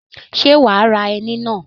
Ṣé wà á ra ẹni náà